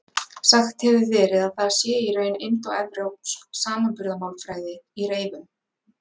Sagt hefur verið að það sé í raun indóevrópsk samanburðarmálfræði í reyfum.